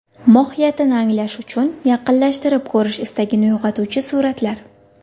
Mohiyatini anglash uchun yaqinlashtirib ko‘rish istagini uyg‘otuvchi suratlar.